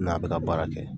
N'a bɛ ka baara kɛ